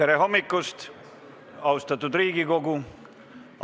Tere hommikust, austatud Riigikogu!